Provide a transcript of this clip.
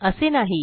असे नाही